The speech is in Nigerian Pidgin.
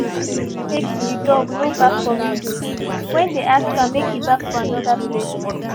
they been redirectmake the dog no bark for window when they ask am make he bark for another place